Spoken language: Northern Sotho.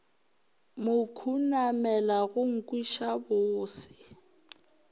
mo khunamela go nkweša bose